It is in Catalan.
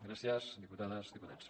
gràcies diputades diputats